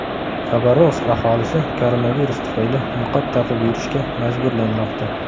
Xabarovsk aholisi koronavirus tufayli niqob taqib yurishga majburlanmoqda.